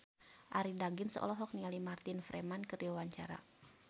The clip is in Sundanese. Arie Daginks olohok ningali Martin Freeman keur diwawancara